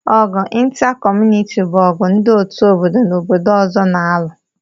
Ọgụ ịntra kọmunịti bụ ọgụ ndị otu obodo na obodo ọzọ n'alu